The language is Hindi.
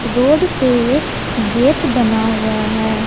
रोड पर एक गेट बना हुआ है।